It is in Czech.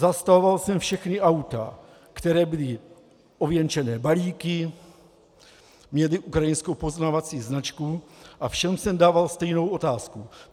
Zastavoval jsem všechna auta, která byla ověnčená balíky, měla ukrajinskou poznávací značku, a všem jsem dával stejnou otázku.